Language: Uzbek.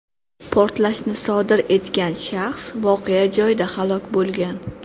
Portlashni sodir etgan shaxs voqea joyida halok bo‘lgan.